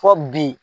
Fɔ bi